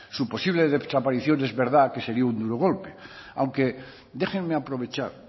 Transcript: su posible desaparición es verdad que sería un duro golpe aunque déjenme aprovechar